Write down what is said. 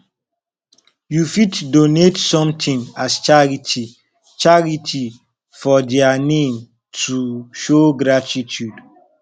you fit donate something as charity charity for their name to show gratitude